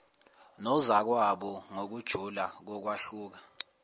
nozakwabo ngokujula kokwahluka